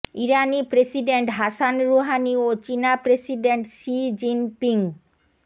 ইরানি president Hassan Rouhani ও চীনা president Xi Jinping